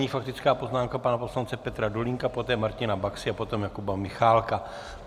Nyní faktická poznámka pana poslance Petra Dolínka, poté Martina Baxy a poté Jakuba Michálka.